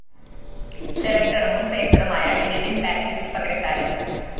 സെലക്ടറും മുന്‍ പേസറുമായ Eldine‍ Baptiste പകരക്കാരന്‍